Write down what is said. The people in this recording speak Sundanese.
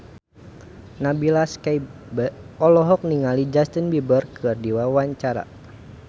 Nabila Syakieb olohok ningali Justin Beiber keur diwawancara